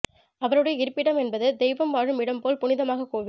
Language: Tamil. அவருடைய இருப்பிடம் என்பது தெய்வம் வாழும் இடம் போல் புனிதமாக கோவில்